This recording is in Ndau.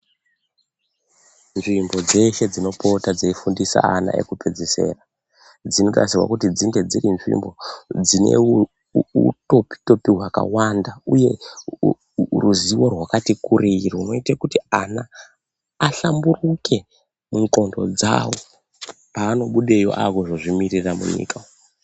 Nzvimbo dzeshe dzinopota dzeifundise ana ekupedzesera dzinotarisirwa kuti dzinge dziri nzvimbo dzine uuu topi topi hwakawanda uye uu rwuzivo rwakati kurei runoite kuti ana ahlamburike mundxondo dzawo paanobudeyo akuzozvimirira munyika.